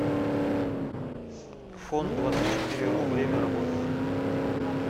фондвадцатьчетыреру время работы